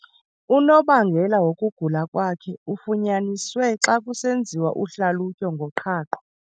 Unobangela wokugula kwakhe ufunyaniswe xa kusenziwa uhlalutyo ngoqhaqho.